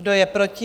Kdo je proti?